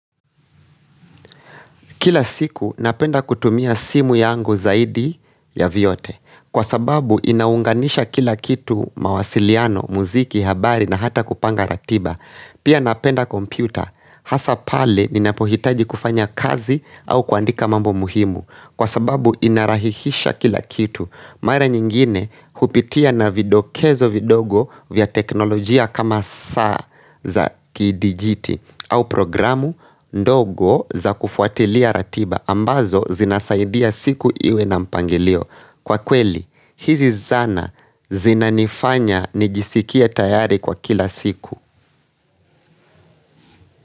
Kila siku napenda kutumia simu yangu zaidi ya viyote. Kwa sababu inaunganisha kila kitu mawasiliano, muziki, habari na hata kupanga ratiba. Pia napenda kompyuta. Hasapale ninapohitaji kufanya kazi au kuandika mambo muhimu. Kwa sababu inarahihisha kila kitu. Marea nyingine hupitia na vidokezo vidogo vya teknolojia kama saa za kidijiti au programu ndogo za kufuatilia ratiba ambazo zinasaidia siku iwe na mpangilio Kwa kweli, hizi zana zinanifanya nijisikie tayari kwa kila siku.